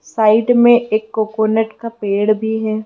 Side में एक coconut का पेड़ भी है।